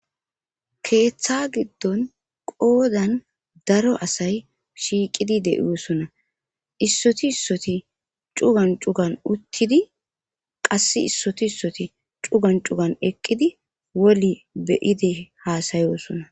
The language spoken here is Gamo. keeththa giddon qoodan daro asay shiiqidi de'osona issoti issoti cugan cugan uttidi qass issoti issoti cugan cugan eqqidi woli beyide haasayosona